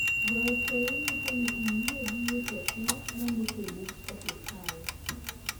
goyo seyi nyiso ni oyie gi weche te mondiki e bug osiptal